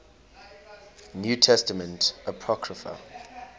new testament apocrypha